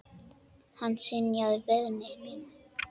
Hann synjaði beiðni minni.